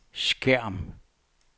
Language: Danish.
skærm